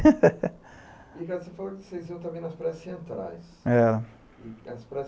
Ricardo, você falou que vocês iam também nas praias centrais. Era. As praias